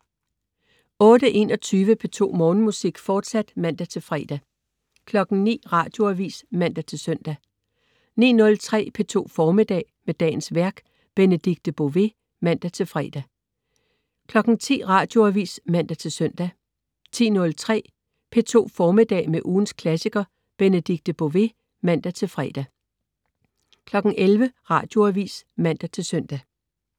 08.21 P2 Morgenmusik, fortsat (man-fre) 09.00 Radioavis (man-søn) 09.03 P2 Formiddag. Med dagens værk. Benedikte Bové (man-fre) 10.00 Radioavis (man-søn) 10.03 P2 Formiddag. Med ugens klassiker. Benedikte Bové (man-fre) 11.00 Radioavis (man-søn)